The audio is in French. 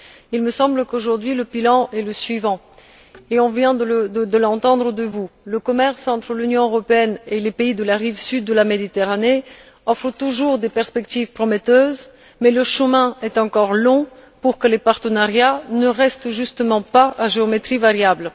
Il me semble qu'aujourd'hui le bilan est le suivant et vous venez de le tracer le commerce entre l'Union européenne et les pays de la rive sud de la Méditerranée offre toujours des perspectives prometteuses mais le chemin est encore long pour que les partenariats ne restent justement pas à géométrie variable.